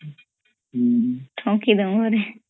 ଠକି ଦଉ ଘରେ